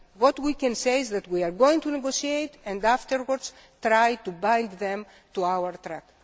What we can say is that we are going to negotiate and afterwards try to bind them to our track.